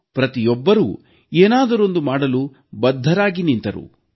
ಪ್ರತಿಯೊಬ್ಬರೂ ಏನಾದರೊಂದು ಮಾಡಲು ಬದ್ಧರಾಗಿ ನಿಂತರು